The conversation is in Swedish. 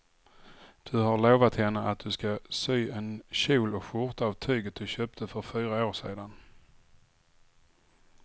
Du har lovat henne att du ska sy en kjol och skjorta av tyget du köpte för fyra år sedan.